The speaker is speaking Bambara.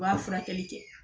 U b'a furakɛli kɛ